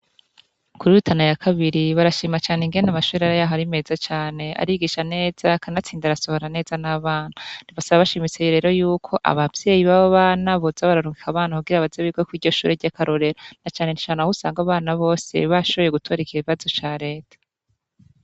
Kuri rutana ya kabiri barashima cane ingene amashure yaho ari meza cane arigisha neza kanatsinda arasohora neza nabana basaba bashimitse rero yuko abavyeyi babobana boza bararungika abana kugira baze bige kwiryoshure ryakarorero nacane cane ahusanga abana bose bashoboye gutora ikibazo ca reta